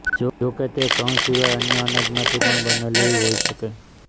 જોકે તે ઘઉં સિવાય અન્ય અનાજમાંથી પણ બનેલી હોઈ શકે